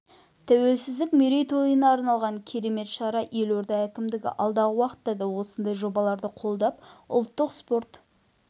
тәуелсіздік мерейтойына арналған керемет шара елорда әкімдігі алдағы уақытта да осындай жобаларды қолдап ұлттық спорт